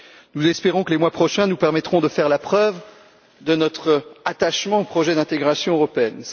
Nous espérons que les mois prochains nous permettront de faire la preuve de notre attachement au projet d'intégration européenne.